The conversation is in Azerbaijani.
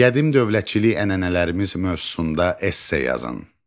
Qədim dövlətçilik ənənələrimiz mövzusunda esse yazın.